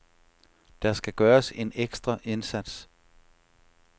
Der skal gøres en ekstra indsats.